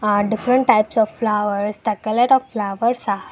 aa different types of flowers the colour of flowers are --